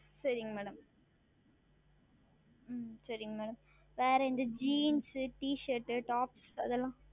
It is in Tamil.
சரிங்கள் Madam ஆஹ் சரிங்கள் Madam வேறு இந்த JeansT ShirtTops அது எல்லாம்